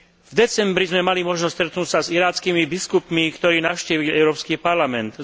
V decembri sme mali možnosť sa stretnúť s irackými biskupmi, ktorí navštívili Európsky parlament.